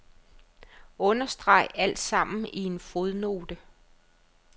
Understreg alt sammen i en fodnote.